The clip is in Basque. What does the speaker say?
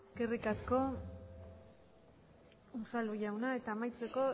eskerrik asko unzalu jauna eta amaitzeko